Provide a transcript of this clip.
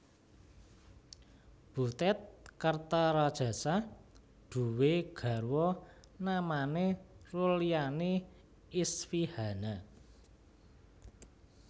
Butet Kertaradjasa duwé garwa namane Rulyani Isfihana